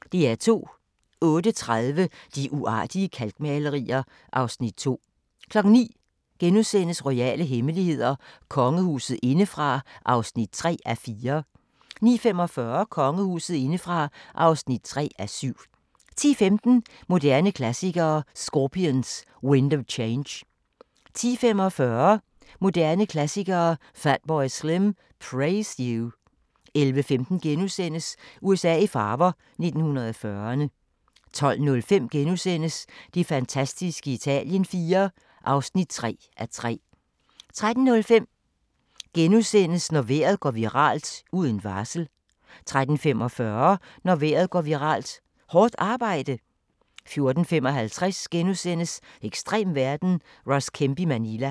08:30: De uartige kalkmalerier (Afs. 2) 09:00: Royale hemmeligheder: Kongehuset indefra (3:4)* 09:45: Kongehuset indefra (3:7) 10:15: Moderne Klassikere: Scorpions – Wind of Change 10:45: Moderne Klassikere: Fatboy Slim – Praise You 11:15: USA i farver – 1940'erne * 12:05: Det fantastiske Italien IV (3:3)* 13:05: Når vejr går viralt – uden varsel! * 13:45: Når vejr går viralt – Hårdt arbejde? 14:55: Ekstrem verden – Ross Kemp i Manila *